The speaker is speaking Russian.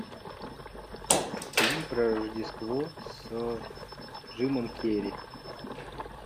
фильм про рождество с джимом керри